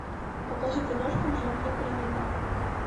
покажи киношку в жанре криминал